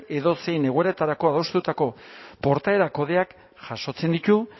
edozein egoeratarako adostutako portaera kodeak jasotzen ditu